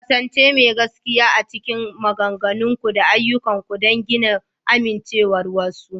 ƙasance mai gaskiya a cikin maganganunku da ayyukanku don gina amincewar wasu.